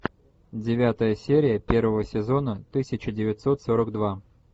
девятая серия первого сезона тысяча девятьсот сорок два